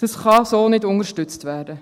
Dies kann so nicht unterstützt werden.